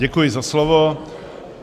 Děkuji za slovo.